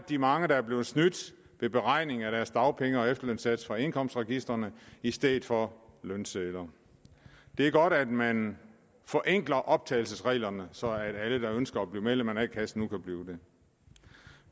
de mange der er blevet snydt ved beregning af deres dagpenge og efterlønssats på baggrund af indkomstregistrene i stedet for lønsedler det er godt at man forenkler optagelsesreglerne så alle der ønsker at blive medlem af en a kasse nu kan blive det